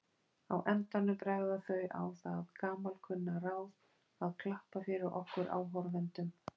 Á endanum bregða þau á það gamalkunna ráð að klappa fyrir okkur áhorfendum.